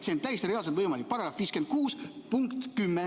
See on täiesti reaalselt võimalik, § 56 punkt 10.